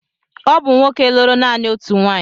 Ọ bụ nwoke lụrụ naanị otu nwaanyị.